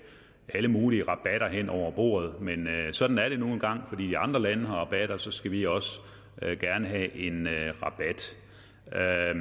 alle mulige rabatter hen over bordet men sådan er det nu engang fordi de andre lande får rabatter skal vi også gerne have en rabat